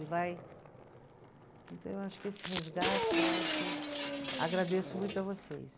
E vai, então, eu acho que esse resgate, eu acho, agradeço muito a vocês.